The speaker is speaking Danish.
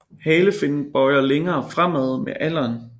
Halefinnen bøjer længere fremad med alderen